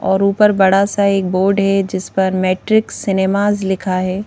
और ऊपर बड़ा सा एक बोर्ड है जिस पर मैट्रिक सिनेमास लिखा है।